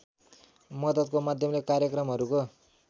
मद्दतको माध्यमले कार्यक्रमहरूको